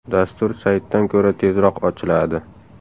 Dastur saytdan ko‘ra tezroq ochiladi.